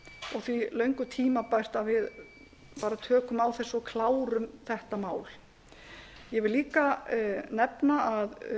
og því löngu tímabært að við tökum á þessu og klárum þetta mál ég vil líka nefna að